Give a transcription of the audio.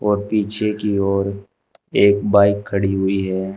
और पीछे की ओर एक बाइक खड़ी हुई है।